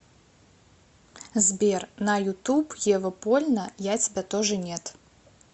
сбер на ютуб ева польна я тебя тоже нет